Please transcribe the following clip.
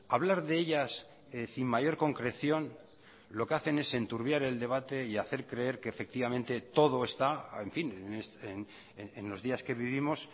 hablar de ellas sin mayor concreción lo que hacen es enturbiar el debate y hacer creer que efectivamente todo está en fin en los días que vivimos